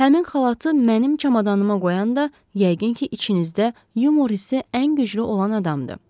Həmin xalatı mənim çamadanıma qoyanda yəqin ki, içinizdə yumor hissi ən güclü olan adamdır.